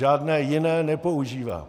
Žádné jiné nepoužívám.